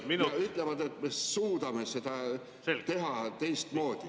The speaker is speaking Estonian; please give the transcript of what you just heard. Nad ütlevad, et me suudame seda teha teistmoodi.